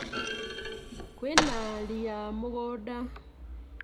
Kwĩna ria mũgũnda